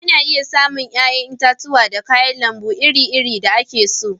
Ana iya samu yayan itatuwa da kayan lambu iri-iri da ake so.